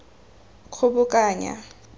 kgobokanya